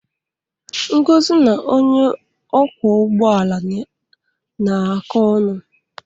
Ngozi na onye ọkwọ ụgbọ ala na-akọ ọnụ.